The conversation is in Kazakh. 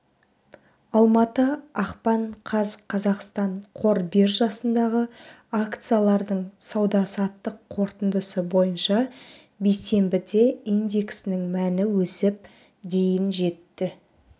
алматы ақпан қаз қазақстан қор биржасындағы акциялардың сауда-саттық қорытындысы бойынша бейсенбіде индексінің мәні өсіп дейін жетті